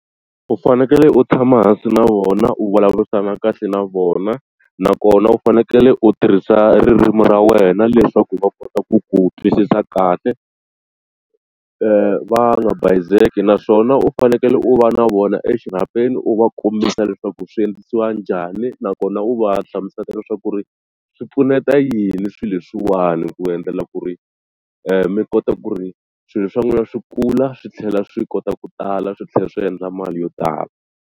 U fanekele u tshama hansi na vona u vulavurisana kahle na vona nakona u fanekele u tirhisa ririmi ra wena leswaku va kota ku ku twisisa kahle va nga naswona u fanekele u va na vona exirhapeni u va kombisa leswaku swi endlisiwa njhani nakona u va hlamusela leswaku ri swi pfuneta yini swilo leswiwani ku endlela ku ri mi kota ku ri swilo swa n'wina swi kula swi tlhela swi kota ku tala swi tlhela swi endla mali yo tala.